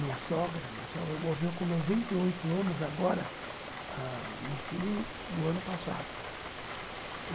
Minha sogra, minha sogra morreu com noventa e oito anos agora ãh, no fim do ano passado.